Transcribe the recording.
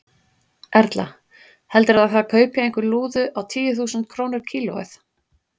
Erla: Heldurðu að það kaupi einhver lúðu á tíu þúsund krónur kílóið?